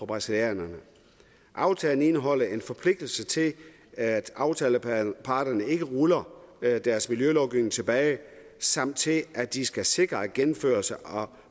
brasilianerne aftalen indeholder en forpligtelse til at aftaleparterne ikke ruller deres miljølovgivning tilbage samt til at de skal sikre gennemførelse og